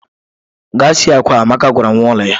Gaa sie akwa! Amaka gwara nwa ulo ya